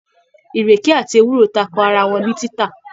Ìrèké àti ewúro tako ara wọn ní títà.